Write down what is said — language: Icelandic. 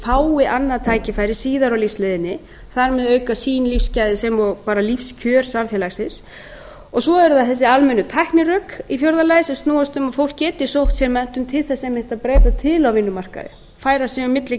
fái annað tækifæri síðar á lífsleiðinni og þar með auki sín lífsgæði sem og bara lífskjör samfélagsins svo eru það þessi almennu tæknirök í fjórða lagi sem snúast um að fólk geti sótt sér menntun til þess einmitt að breyta til á vinnumarkaði færa sig á milli